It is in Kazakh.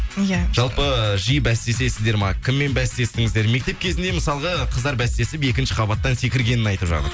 иә жалпы жиі бәстесесіздер ма кіммен бәстестіңіздер мектеп кезінде мысалға қыздар бәстесіп екінші қабаттан секіргенін айтып жатыр